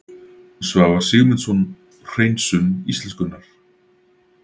Svavar Sigmundsson: Hreinsun íslenskunnar